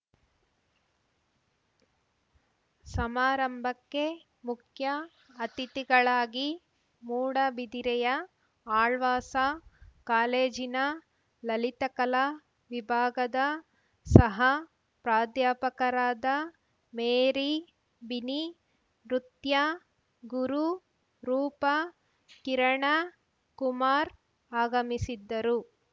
ಸಮಾರಂಭಕ್ಕೆ ಮುಖ್ಯ ಅತಿಥಿಗಳಾಗಿ ಮೂಡಬಿದರೆಯ ಆಳ್ವಾಸ ಕಾಲೇಜಿನ ಲಲಿತಕಲಾ ವಿಭಾಗದ ಸಹಪ್ರಾಧ್ಯಾಪಕರಾದ ಮೇರಿ ಬಿನಿ ನೃತ್ಯ ಗುರು ರೂಪಾ ಕಿರಣ ಕುಮಾರ್‌ ಆಗಮಿಸಿದ್ದರು